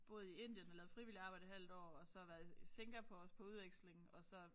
Boet i Indien og lavet frivilligt arbejde et halvt år og så været i Singapore også på udveksling og så